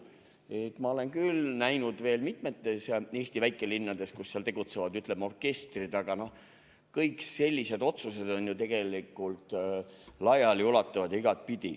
Ma olen küll näinud, et veel mitmetes Eesti väikelinnades orkestrid tegutsevad, aga kõik sellised otsused on ju tegelikult igatpidi laialiulatuvad.